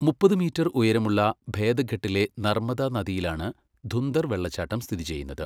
മുപ്പത് മീറ്റർ ഉയരമുള്ള ഭേദഘട്ടിലെ നർമ്മദാ നദിയിലാണ് ധുന്ദർ വെള്ളച്ചാട്ടം സ്ഥിതി ചെയ്യുന്നത്.